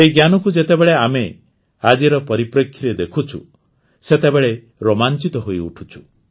ଏହି ଜ୍ଞାନକୁ ଯେତେବେଳେ ଆମେ ଆଜିର ପରିପ୍ରେକ୍ଷୀରେ ଦେଖୁଛୁ ସେତେବେଳେ ରୋମାଂଚିତ ହୋଇଉଠୁଛୁ